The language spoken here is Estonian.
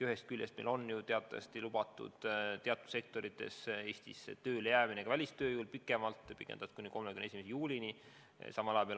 Ühest küljest meil on ju teatavasti välistööjõule lubatud teatud sektorites Eestisse pikemalt tööle jääda, seda aega on pikendatud kuni 31. juulini.